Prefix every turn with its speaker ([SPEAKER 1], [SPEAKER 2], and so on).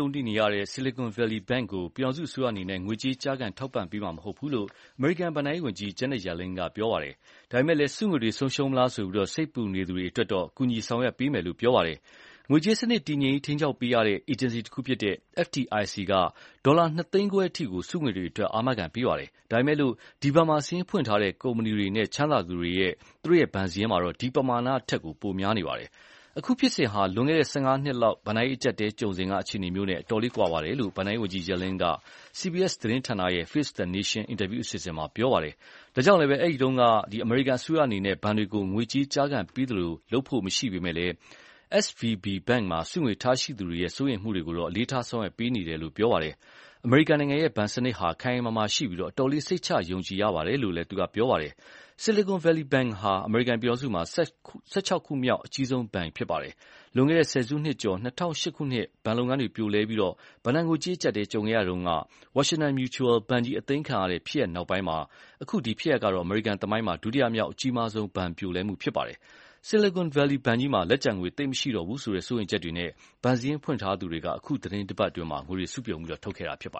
[SPEAKER 1] ုံတွေ့နေရတဲ့ Silicon Valley Bank ကို ပြည်ထောင်စုအစိုးရအနေနဲ့ ငွေကြေး ကျားကန်ထောက်ပံ့ပေးမှာမဟုတ်ဘူးလို့ အမေရိကန်ဘဏ္ဍာရေးဝန်ကြီး Janet Yellen က ပြောပါတယ်။ ဒါပေမယ့်လည်း စုငွေတွေဆုံးရှုံးမလားဆိုပြီး စိတ်ပူနေသူတွေအတွက်တော့ ကူညီဆောင်ရွက်ပေးမယ်လို့ ပြောပါတယ်။ ငွေကြေးစနစ်တည်ငြိမ်ရေး ထိန်းကျောင်းပေးရတဲ့ အေဂျင်စီတခုဖြစ်တဲ့ FDIC က ဒေါ်လာ နှစ်သိန်းခွဲအထိ စုငွေတွေအတွက် အာမခံပေးပါတယ်။ ဒါပေမယ့်လည်း ဒီ ဘဏ်မှာ စာရင်းဖွင့်ထားတဲ့ကုမ္ပဏီတွေနဲ့ ချမ်းသာသူတွေက သူတို့ဘဏ်စာရင်းမှာ ဒီပမာဏထက် ပိုများနေပါတယ်။ အခုဖြစ်စဉ်ဟာ လွန်ခဲ့တဲ့ ၁၅ နှစ်လောက် ဘဏ္ဍာရေးအကျပ်အတည်းကြုံစဉ်က အခြေအနေမျိုးနဲ့ အတော်ကွာခြားတယ်လို့ ဘဏ္ဍာရေးဝန်ကြီး Yellen က CBS သတင်းဌာနရဲ့ Face the Nation အင်တာဗျူးအစီအစဉ်မှာ ပြောပါတယ်။ ဒါကြောင့်လည်း အဲဒီတုန်းက အမေရိကန်အစိုးရအနေနဲ့ ဘဏ်တွေကို ငွေကြေးကျားကန်ပေးခဲ့သလို လုပ်ဖို့မရှိပေမဲ့လည်း SVB ဘဏ်မှာ စုငွေထားရှိသူတွေရဲ့ စိုးရိမ်မှုတွေကို အလေးထားဆောင်ရွက်ပေးနေတယ်လို့တော့ ပြောပါတယ်။ အမေရိကန်ရဲ့ဘဏ်စနစ်ဟာ ခိုင်ခိုင်မာမာရှိပြီး အတော်လေး စိတ်ချယုံကြည်ရပါတယ်လို့လည်း ပြောပါတယ်။ Silicon Valley Bank ဟာ အမေရိကန်ပြည်ထောင်စုမှာ ၁၆ ခုမြောက် အကြီးဆုံးဘဏ်ဖြစ်ပါတယ်။ လွန်ခဲ့တဲ့ ဆယ်စုနှစ်ကျော် ၂၀၀၈ ခုနှစ် ဘဏ်လုပ်ငန်းတွေ ပြိုလဲပြီး ဘဏ္ဍာငွေကြေးအကျပ်အတည်း ကြုံခဲ့ရချိန်က Washington Mutual ဘဏ်ကြီး အသိမ်းခံရတဲ့ ဖြစ်ရပ်နောက်ပိုင်းမှာ အခုဖြစ်ရပ်က အမေရိကန်သမိုင်းမှာ ဒုတိယမြောက်အကြီးမားဆုံး ဘဏ်ပြိုလဲမှုဖြစ်ပါတယ်။ Silicon Valley ဘဏ်ကြီးမှာ လက်ကျန်ငွေသိပ်မရှိတော့ဘူးဆိုတဲ့ စိုးရိမ်ချက်တွေနဲ့ ဘဏ်စာရင်းဖွင့်ထားသူတွေက အခုတပတ်အတွင်းမှာ ငွေတွေ စုပြုံပြန်ထုတ်ခဲ့ကြတာပါ